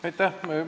Aitäh!